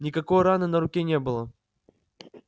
никакой раны на руке не было